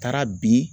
Taara bi